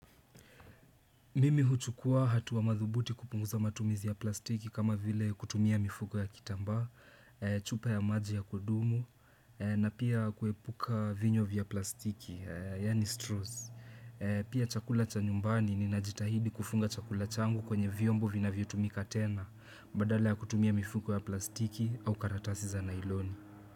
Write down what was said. Mimi huchukua hatua madhubuti kupunguza matumizi ya plastiki kama vile kutumia mifugo ya kitamba, chupa ya maji ya kudumu, na pia kuepuka vinywa vya plastiki, yani straws. Pia chakula cha nyumbani ni najitahidi kufunga chakula changu kwenye viombo vina vya tumika tena, badale ya kutumia mifuko ya plastiki au karatasi za nailoni.